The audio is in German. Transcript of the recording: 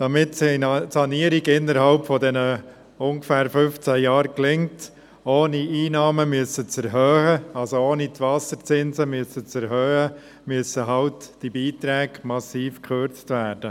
Damit die Sanierung innerhalb von ungefähr 15 Jahren gelingt, ohne die Einnahmen erhöhen zu müssen, also ohne die Wasserzinsen zu erhöhen, müssen die Beiträge massiv gekürzt werden.